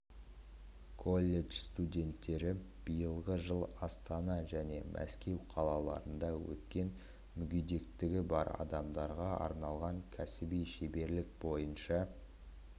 колледж студенттері биылғы жылы астана және мәскеу қалаларында өткен мүгедектігі бар адамдарға арналған кәсіби шеберлік бойынша